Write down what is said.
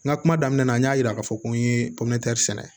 N ka kuma daminɛ na n y'a yira k'a fɔ ko n ye popere sɛnɛ